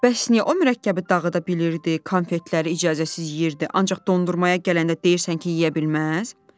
Bəs niyə o mürəkkəbi dağıda bilirdi, konfetləri icazəsiz yeyirdi, ancaq dondurmaya gələndə deyirsən ki, yeyə bilməz?